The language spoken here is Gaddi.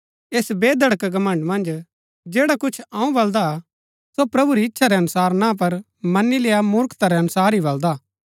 ऐस बेधड़क घमण्ड़ मन्ज जैडा कुछ अऊँ बलदा हा सो प्रभु री इच्छा रै अनुसार ना पर मनी लेय्आ मूर्खता रै अनुसार ही बलदा हा